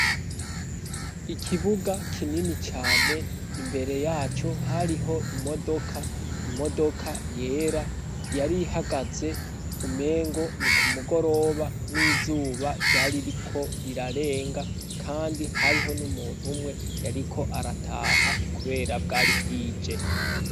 Ikibuga kinini cane, imbere yaco hariho imodoka, imodoka yera yari ihagaze, umengo ni ku mugoroba n'izuba ryari ririko rirarenga kandi hariho n'umuntu umwe yariko arataha kubera bwari bwije.